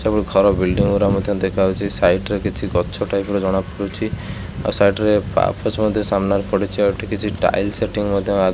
ସବୁ ଘର ବିଲ୍ଡିଙ୍ଗି ଗୁରା ମଧ୍ୟ ଦେଖାହୋଉଛି ସାଇଟ୍ ରେ କିଛି ଗଛ ଟାଇପ୍ ର ଜଣାପଡୁଛି ଆଉ ସାଇଟ୍ ରେ ପାପୋଛୋ ମଧ୍ୟ ସାମ୍ନାରେ ପଡ଼ିଚି ଆଉ ଏଠି କିଛି ଟାଇଲ୍ ସେଟିଙ୍ଗି ମଧ୍ୟ ଆଗ --